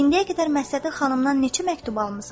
İndiyə qədər Məstəti xanımdan neçə məktub almısan?